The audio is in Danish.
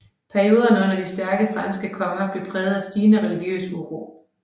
Perioderne under de stærke franske konger blev præget af stigende religiøs uro